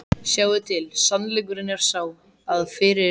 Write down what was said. Sjáiði til, sannleikurinn er sá, að fyrir